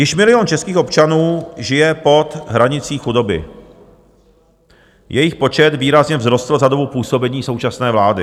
Již milion českých občanů žije pod hranicí chudoby, jejich počet výrazně vzrostl za dobu působení současné vlády.